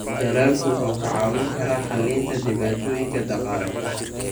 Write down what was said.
Dalaggu wuxuu kaa caawin karaa xallinta dhibaatooyinka dhaqaale.